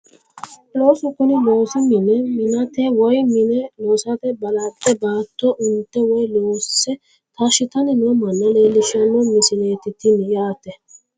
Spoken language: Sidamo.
Looso kuni loosi mine minate woyi mine loosate balaxxe baatto unte woyi loosse taashshitanni noo manna leelishshanno misileeti tini yaate